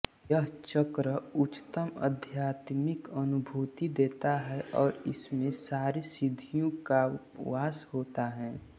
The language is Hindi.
यह चक्र उच्चतम आध्यात्मिक अनुभूति देता है और इसमें सारी सिद्धियों का वास होता है